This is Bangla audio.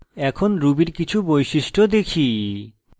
এখন ruby এর কিছু বৈশিষ্ট্য দেখি